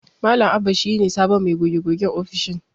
Malam Abba shi ne sabon mai goge-gogen ofishin.